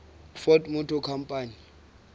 ford motor company